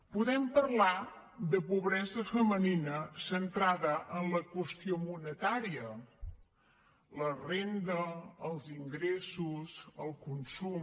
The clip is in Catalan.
podem parlar de pobresa femenina centrada en la qüestió monetària la renda els ingressos el consum